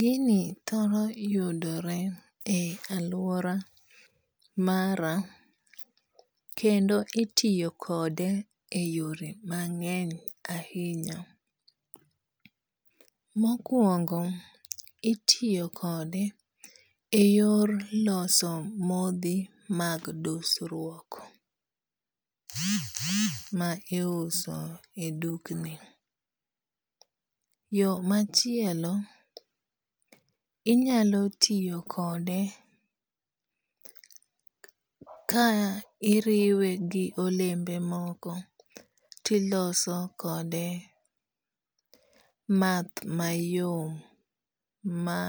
Gini thoro yudore e aluora mara. Kendo itiyo kode e yore mang'eny ahinya. Mokuongo itiyo kode e yor loso modhi mag dusruok ma iuso e dukni. Yo machielo, inyalo tiyo kode ka iriwe gi olembe moko tiloso kode math mayom ma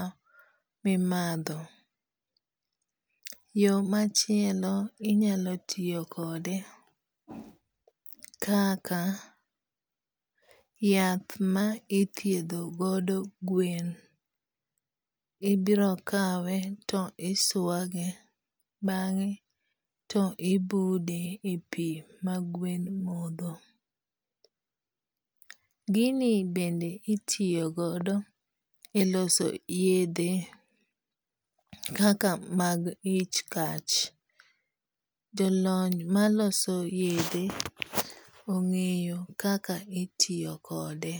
mimadho. Yo machielo inyalo tiyo kode kaka yath ma ithiedho godo gwen. Ibiro kawe to iswage bang'e to ibude e pi ma gwen modho. Gini bende itiyo godo e loso yedhe kaka mag ich kach. Jo lony maloso yedhe ong'eyo kaka itiyo kode.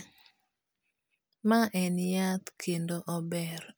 Ma en yath kendo ober.